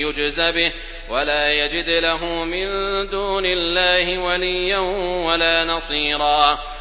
يُجْزَ بِهِ وَلَا يَجِدْ لَهُ مِن دُونِ اللَّهِ وَلِيًّا وَلَا نَصِيرًا